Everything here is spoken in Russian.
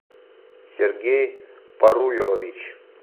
сергей паруйрович